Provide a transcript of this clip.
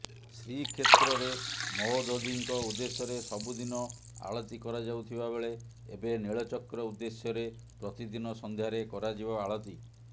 ଶ୍ରୀ କ୍ଷେତ୍ରରେ ମହୋଦଧିଙ୍କ ଉଦ୍ଦେଶ୍ୟରେ ସବୁଦିନ ଆଳତୀକରାଯାଉଥିବାବେଳେ ଏବେ ନୀଳଚକ୍ର ଉଦ୍ଦେଶ୍ୟରେ ପ୍ରତିଦିନ ସନ୍ଧ୍ୟାରେ କରାଯିବ ଆଳତୀ